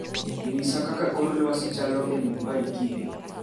nyisa kaka kor lwasi chalo e Mumbai kiny